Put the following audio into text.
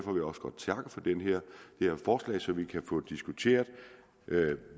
her forslag så vi kan få diskuteret hvad